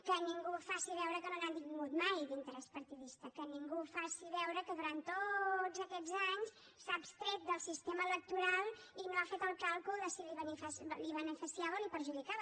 que ningú faci veure que no n’ha tingut mai d’interès partidista que ningú faci veure que durant tots aquests anys s’ha abstret del sistema electoral i no ha fet el càlcul de si el beneficiava o el perjudicava